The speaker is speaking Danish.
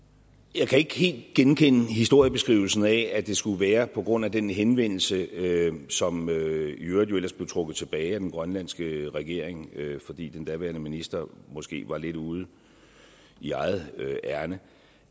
jeg kan ikke helt genkende historiebeskrivelsen af at det skulle være på grund af den henvendelse som i øvrigt ellers blev trukket tilbage af den grønlandske regering fordi den daværende minister måske var lidt ude i eget ærinde